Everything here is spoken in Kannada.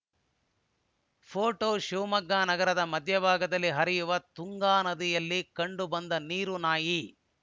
ಫೋಟೋ ಶಿವಮೊಗ್ಗ ನಗರದ ಮಧ್ಯಭಾಗದಲ್ಲಿ ಹರಿಯುವ ತುಂಗಾನದಿಯಲ್ಲಿ ಕಂಡು ಬಂದ ನೀರು ನಾಯಿ